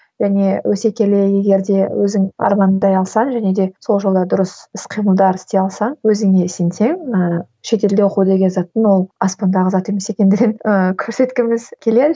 және өсе келе егер де өзің армандай алсаң және де сол жолда дұрыс іс қимылдар істей алсаң өзіңе сенсең ііі шетелде оқу деген заттың ол аспандағы зат емес екендігін ііі көрсеткіміз келеді